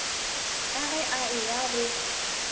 ka ge a eya go